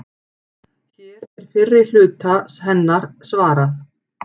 Hér er fyrri hluta hennar svarað.